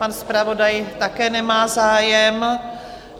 Pan zpravodaj také nemá zájem.